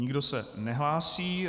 Nikdo se nehlásí.